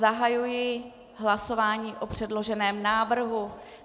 Zahajuji hlasování o předloženém návrhu.